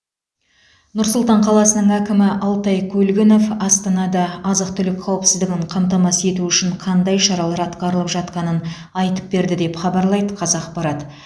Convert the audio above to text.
нұр сұлтан қаласының әкімі алтай көлгінов астанада азық түлік қауіпсіздігін қамтамасыз ету үшін қандай шаралар атқарылып жатқанын айтып берді деп хабарлайды қазақпарат